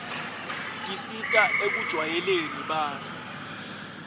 tisita ekujwayeleni bantfu